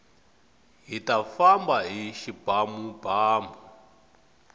hita famba hi xibamubamu